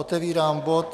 Otevírám bod